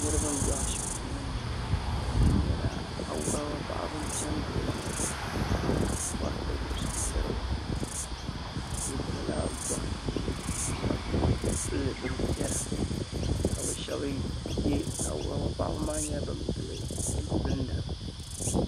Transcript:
Niriba n be ashipti ŋɔni ŋɔ awuraba paɣaba n piɛngili ba maa m bori tibri suŋ n tiriba bɛ dola goriti zuɣu ka pili bini piɛla Awuraba paɣaba maa nyɛla bin pili bin pinda.